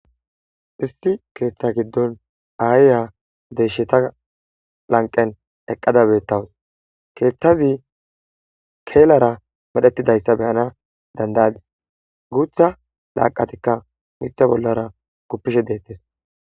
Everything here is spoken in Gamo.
issi keeththa giddon aaya deesheta lanqen eqqada beettawus keeththazi keelara medhetidayssa be'ana dandayadis guutha laaqatikka mitha bollara guppishe deettes